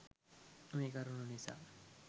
මේ කරුණු නිසා